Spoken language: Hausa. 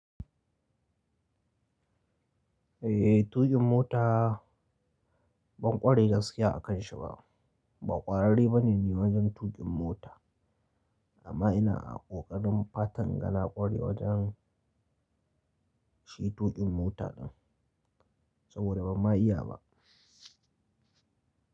Eh, tuƙin mota ban ƙware gaskiya a kanshi ba. Ba ƙwararre bane ni wajen tuƙin mota amma ina a ƙoƙarin fatan inga na ƙware wajen shi tuƙin mota din saboda bamma iya ba.